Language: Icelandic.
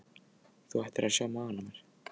Þú ættir að sjá magann á mér.